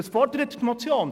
Was fordert die Motion?